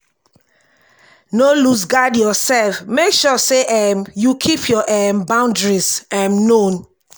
no loose guard your self make sure sey um you keep your um boundaries um known